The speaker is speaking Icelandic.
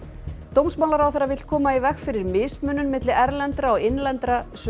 dómsmálaráðherra vill koma í veg fyrir mismunun milli erlendra og innlendra